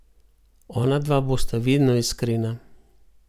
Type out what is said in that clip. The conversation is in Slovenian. Ona dva bosta vedno iskrena.